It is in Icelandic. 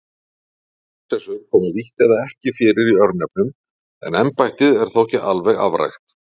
Prinsessur koma lítt eða ekki fyrir í örnefnum en embættið er þó ekki alveg afrækt.